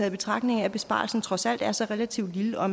i betragtning af at besparelsen trods alt er så relativt lille og